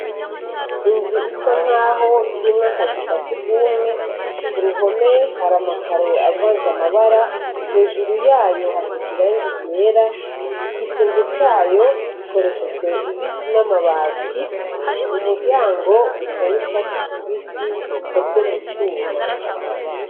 Inzu isa nkaho irimwo akazu ka surwumwe, ku ruhome hari amakaro avanze amabara, hejuru yayo hasize irangi ryera, igisenge cayo gikoreshejwe ibiti n' amabati, umuryango usa n' icatsi kibisi ukwozwe mu cuma.